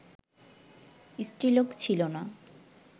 স্ত্রীলোক ছিল না